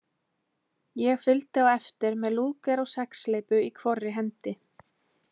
Ég fylgdi á eftir með Lúger og sexhleypu í hvorri hendi.